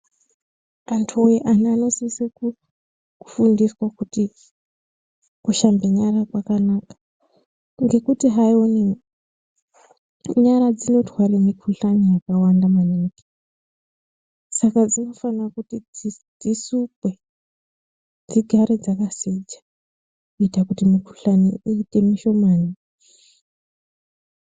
Antu anosise kufundiswa kuti kushambe nyara kwakanaka ngekuti hayi nyara dzinotware mikhuhlani yakawanda maningi. Saka dzinofanire kuti dzisukwe dzigare dzakachena kuitire kuti mikhuhlani iite mishomani.